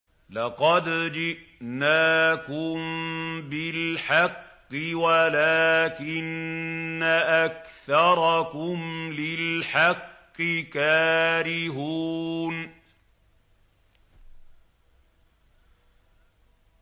لَقَدْ جِئْنَاكُم بِالْحَقِّ وَلَٰكِنَّ أَكْثَرَكُمْ لِلْحَقِّ كَارِهُونَ